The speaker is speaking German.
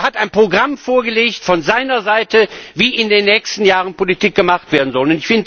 Er hat ein Programm vorgelegt von seiner Seite, wie in den nächsten Jahren Politik gemacht werden soll.